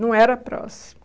Não era próximo.